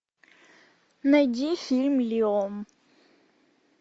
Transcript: найди фильм леон